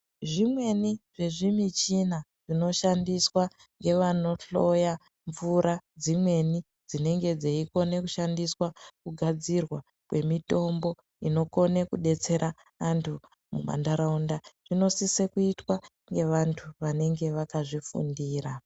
Zvimweni zvezvimichina zvinoshandiswa nevanohloya mvura dzimweni dzinenge dzichigone kushandiswa kugadzirwa kwemitombo inogone kubetsera antu muntaraunda inosiswe kuitwa nevantu vanenge vakazvifundira.